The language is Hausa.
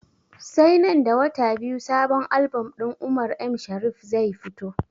Sai nan da wata biyu sabon album din umar m shariff zai fito